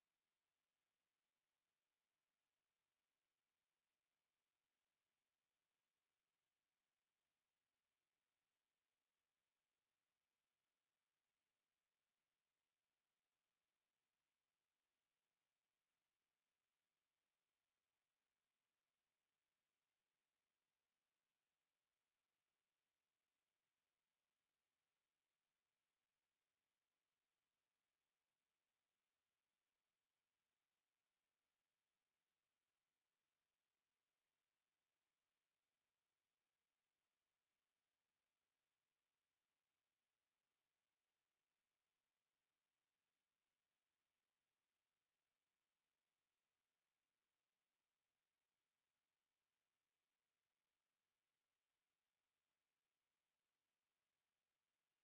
to